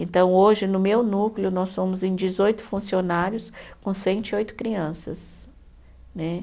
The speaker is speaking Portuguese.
Então, hoje, no meu núcleo, nós somos em dezoito funcionários com cento e oito crianças né.